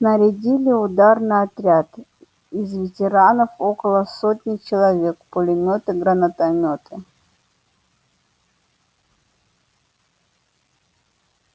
снарядили ударный отряд из ветеранов около сотни человек пулемёты гранатомёты